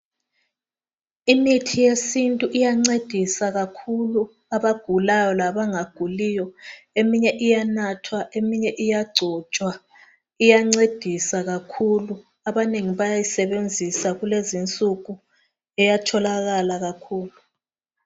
Imithi yesintu iyancedisa kakhulu abagulayo labanga guliyo. iminye iyanathwa, iminye iyagcotshwa. Iyancedisa kakhulu. Abanengi bayayisebenzisa kulezi insuku iyatholakala kakhulu.